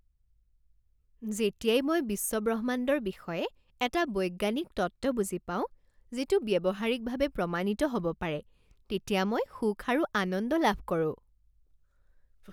যেতিয়াই মই বিশ্ব ব্ৰহ্মাণ্ডৰ বিষয়ে এটা বৈজ্ঞানিক তত্ত্ব বুজি পাওঁ যিটো ব্যৱহাৰিকভাৱে প্ৰমাণিত হ'ব পাৰে তেতিয়া মই সুখ আৰু আনন্দ লাভ কৰো।